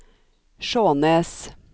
Skjånes